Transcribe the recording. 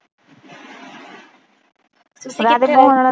ਕਰਾਦੇ ਹੁਣ